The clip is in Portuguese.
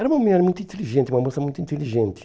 Era uma mulher muito inteligente, uma moça muito inteligente.